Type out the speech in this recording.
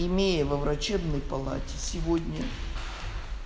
имея во врачебной палате сегодня